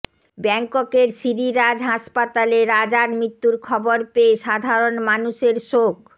ব্যাঙ্ককের Siriraj হাসপাতালে রাজার মৃত্যুর খবর পেয়ে সাধারণ মানুষের শোক